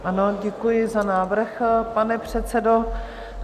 Ano, děkuji za návrh, pane předsedo.